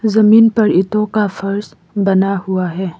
जमीन पर ईंटो का फर्श बना हुआ है।